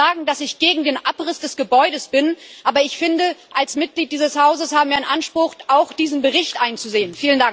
Ich will gar nicht sagen, dass ich gegen den Abriss des Gebäudes bin, aber ich finde, als Mitglied dieses Hauses haben wir einen Anspruch, auch diesen Bericht einzusehen.